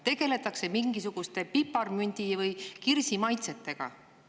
Tegeletakse mingisuguste piparmündi- või kirsimaitsetega.